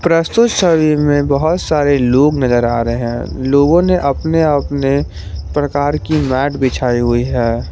प्रस्तुत छवि में बहुत सारे लोग नजर आ रहे हैं लोगों ने अपने अपने प्रकार की मैट बिछाई हुई है।